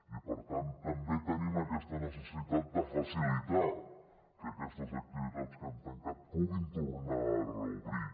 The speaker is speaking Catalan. i per tant també tenim aquesta necessitat de facilitar que aquestes activitats que han tancat puguin tornar a reobrir